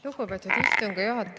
Lugupeetud juhataja!